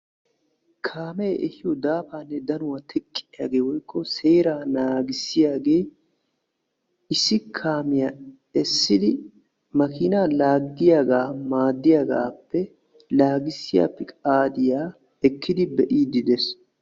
kaamee ehiyo daafaanne dannuwa teqqiyaagee woykko seeraa naagissiyaagee issi kaamiya essidi makiina laagiyaga maadiyaagaappe laagissiya peqaadiya ekkidi be'iidi de'ees.